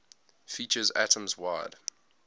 features atoms wide